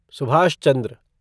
Subhash Chandra